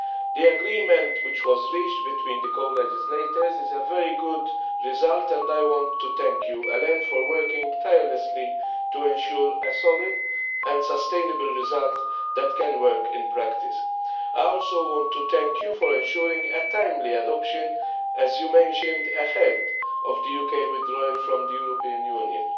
The agreement which was reached between the co legislators is a very good result and I want to thank you, Alain, for working tirelessly to ensure a solid and sustainable result that can work in practice. I also want to thank you for ensuring a timely adoption, as you mentioned, ahead of the UK withdrawal from the European Union.